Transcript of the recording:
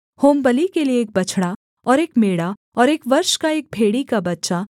होमबलि के लिये एक बछड़ा और एक मेढ़ा और एक वर्ष का एक भेड़ी का बच्चा